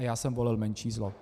A já jsem volil menší zlo.